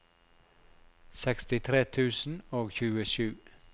sekstitre tusen og tjuesju